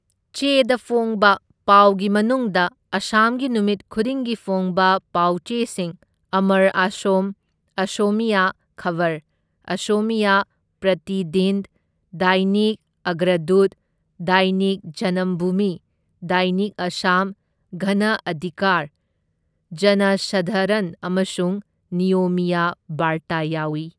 ꯆꯦꯗ ꯐꯣꯡꯕ ꯄꯥꯎꯒꯤ ꯃꯅꯨꯡꯗ ꯑꯁꯥꯝꯒꯤ ꯅꯨꯃꯤꯠ ꯈꯨꯗꯤꯡꯒꯤ ꯐꯣꯡꯕ ꯄꯥꯎꯆꯦꯁꯤꯡ ꯑꯃꯔ ꯑꯥꯁꯣꯝ, ꯑꯁꯣꯃꯤꯌꯥ ꯈꯕꯔ, ꯑꯁꯣꯃꯤꯌꯥ ꯄ꯭ꯔꯇꯤꯗꯤꯟ, ꯗꯥꯏꯅꯤꯛ ꯑꯒ꯭ꯔꯗꯨꯠ, ꯗꯥꯏꯅꯤꯛ ꯖꯅꯝꯚꯨꯃꯤ, ꯗꯥꯏꯅꯤꯛ ꯑꯁꯥꯝ, ꯒꯅ ꯑꯙꯤꯀꯥꯔ, ꯖꯅꯁꯥꯙꯥꯔꯟ ꯑꯃꯁꯨꯡ ꯅꯤꯌꯣꯃꯤꯌꯥ ꯕꯥꯔꯇꯥ ꯌꯥꯎꯏ꯫